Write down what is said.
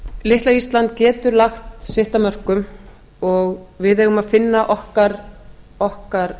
litla ísland getur lagt sitt af mörkum og við eigum að finna okkar